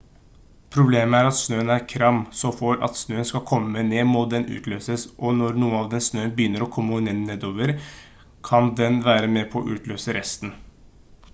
problemet er at snøen er kram så for at snøen skal komme ned må den utløses og når noe av snøen begynner å kommer nedover kan den være med på å utløse resten